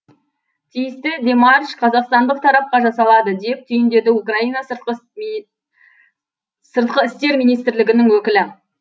тиісті демарш қазақстандық тарапқа жасалады деп түйіндеді украина сыртқы істер министрлігінің өкілі